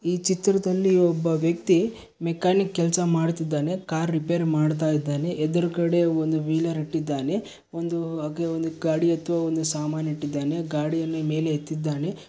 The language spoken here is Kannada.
ಈ ಚಿತ್ರದಲ್ಲಿ ಒಬ್ಬ ವ್ಯಕ್ತಿ ಮೆಕಾನಿಕ್ ಕೆಲಸ ಮಾಡುತ್ತಿದ್ದಾನೆ ಕಾರ್ ರಿಪೇರಿ ಮಾಡ್ತಾ ಇದ್ದಾನೆ ಎದ್ರುಗಡೆ ಒಂದ್ ವೀಲರ್ ಇಟ್ಟಿದ್ದಾನೆ ಒಂದು ಉಹ್ ಹಾಗೆ ಒಂದು ಗಡಿ ಆಥ್ವ ಒಂದು ಸಾಮಾನ್ ಇಟ್ಟಿದ್ದಾನೆ ಗಾಡಿಯನ್ನು ಮೇಲೆ ಎತ್ತಿದ್ದಾನೆ.